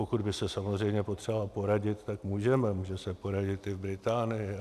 Pokud by se samozřejmě potřebovala poradit, tak můžeme, může se poradit i v Británii.